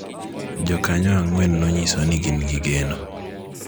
To jokanyo ang�wen nonyiso ni gin gi geno